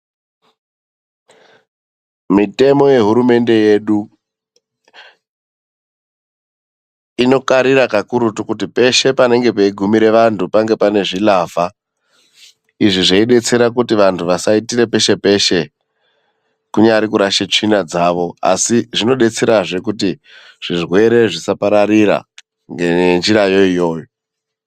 Mitemo yehurumende yedu, inokarira kakurutu kuti peshe panenge peigumira vantu pange paine zvilavha izvi zveidetsera kuti vantu vasaitira peshe peshe kunyari kurashe tsvina dzavo, asi zvinodetserazve kuti zvirwere zvisapararira ngenjirayo iyoyo.